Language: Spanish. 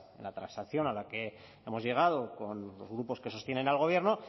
en la transacción a la que hemos llegado con los grupos que sostienen al gobierno